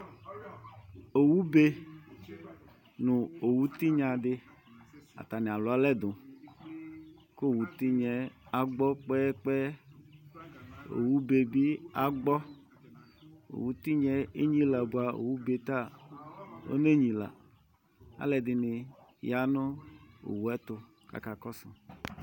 Owu be nu owu tinya di atani alu alɛduKʋ owutinyɛ agbɔ kpɛyɛ kpɛyɛOwu bee bi agbɔOwu tinya yɛ enyilia , bua owu bee ta onenyilaAlu ɛdini yanu owu yɛ tu akakɔsʋ